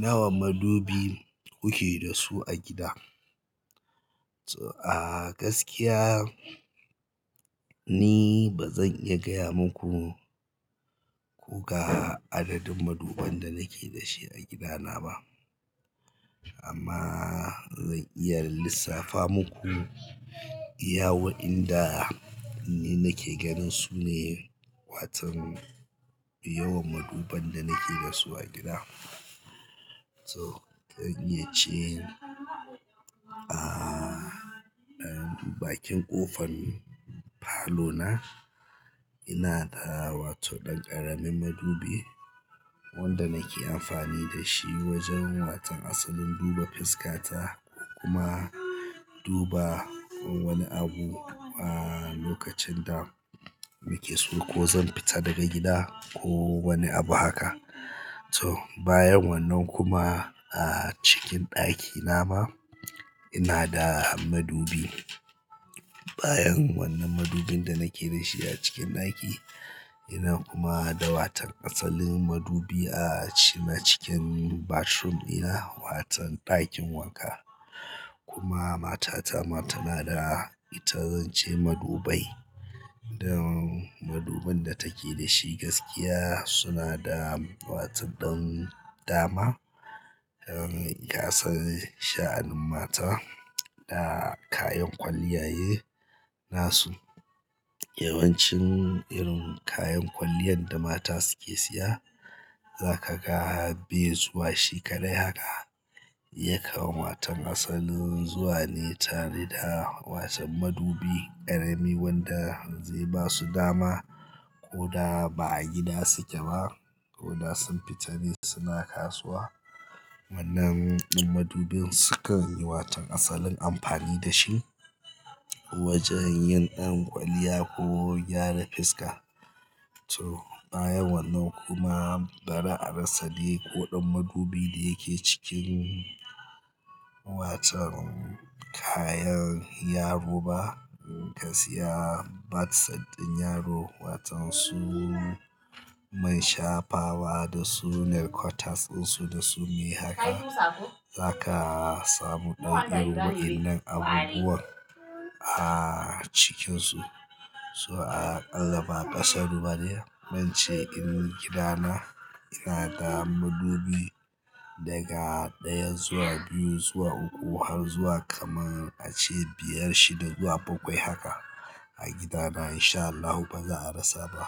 Nawa madubi kuke da su a gida? A gaskiya ni ba zan iya gaya maku ko ga adadin maduban da nake da shi a gidana ba amma zan iya lissafa muku. Iya wa inda ni nake ganin su ne, watan yawan maduban da nake da su a gida. So zan iya ce a ɗakin ƙofan falo na ina da wato ɗan ƙaramin madubi wanda nake amfani da shi wajen watan asalin duba fiska ta kuma duba wani abu a lokacin da muke so ko zan fita daga gida ko wani abu haka. So bayan wannan kuma a cikin ɗaki na ma ina da madubi. Bayan wannan madubin da nake da shi a cikin ɗaki ina kuma da watan asalin madubi a cina cikin bathroom ina watan ɗakin wanka kuma matata ma tana da ita zance madubai. Dan madubin da take da shi gaskiya suna da wato don dama. Dan gasan sha'anin mata da kayan kwalliya ye nasu. Yawancin irin kayan kwaliyan da mata suke siya zaka ga bai zuwa shi kaɗai haka. Yakan watan asalin zuwa ne tare da watan madubi ƙarami wanda zai basu dama ko da ba a gida suke ba ko da sun fita ne suna kasuwa. Wannan madubin sukan yi watan asalin amfani da shi wajen yin ƴan kwalliya ko gyara fuska. To bayan wannan kuma bari a rasa dai ƙoɗan madubi da yake cikin watan kayan yaro ba ka siya bath set ɗin yaro. Watan su man shafawa da su nai cutters ɗin su da su dai haka zaka samu irin waɗannan abubuwan a cikinsu. So a ƙalla ba aƙasaru ba ne. Zance irin gidana ina da madubi daga ɗaya zuwa biyu zuwa uku har zuwa kaman a ce biyar shida zuwa bakwai haka a gidana insha Allahu baza a rasa ba.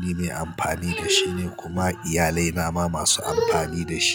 Ni me amfani da shi ne kuma iyalai na ma masu amfani da shi.